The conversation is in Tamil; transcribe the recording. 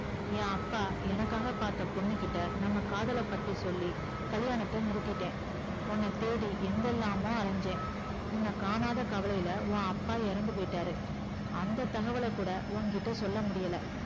ஏன் அப்பா எனக்காக பாத்த பொண்ணுகிட்ட நம்ம காதல பத்தி சொல்லி கல்லியாணத்த நிறுத்திட்டே உன்ன தேடி எங்கலாமோ அலைஞ்சேன் உன்ன காணாத கவலைல உன் அப்பா இறந்து போயிட்டாரு அந்த தகவல கூட உன்கிட்ட சொல்லமுடியல